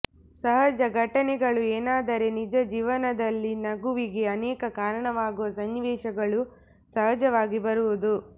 ಸಹಜ ಘಟನೆಗಳು ಏನಾದರೆ ನಿಜ ಜೀವನದಲ್ಲಿ ನಗುವಿಗೆ ಅನೇಕ ಕಾರಣವಾಗುವ ಸನ್ನಿವೇಶಗಳು ಸಹಜವಾಗಿ ಬರುವುದು